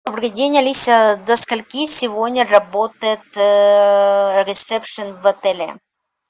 добрый день алиса до сколько сегодня работает ресепшн в отеле